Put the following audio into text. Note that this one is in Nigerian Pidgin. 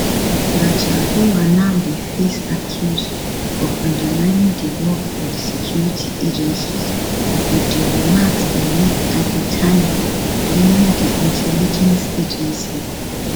gachagua now dey face accuse of undermining di work of di security agencies with di remarks e make at di time blaming di intelligence agency